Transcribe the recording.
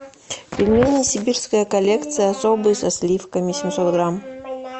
пельмени сибирская коллекция особые со сливками семьсот грамм